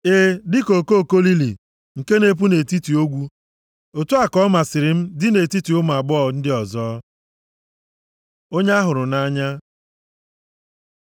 E, dịka okoko lili nke na-epu nʼetiti ogwu, otu a ka ọmasịrị m dị nʼetiti ụmụ agbọghọ ndị ọzọ. Onye a hụrụ nʼanya